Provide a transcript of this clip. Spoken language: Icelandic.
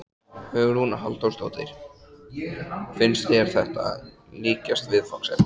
Hugrún Halldórsdóttir: Finnst þér þetta líkjast viðfangsefninu?